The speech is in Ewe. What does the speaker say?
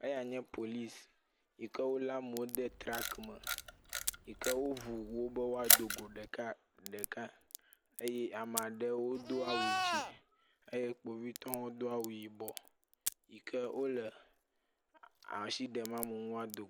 Eyae nye polisi yi ke wolé amewo de traki me yi ke woŋu wo be woado go ɖeka ɖeka eye ame aɖewo do awu dzɛ̃ eye kpovitɔwo do awu yibɔ yi ke wole asi ɖem amewo ŋu be woado go.